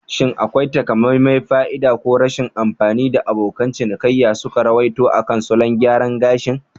Shin akwai takamaiman fa'ida ko rashin amfani da abokan ciniki suka ruwaito akan salon gyaran gashin??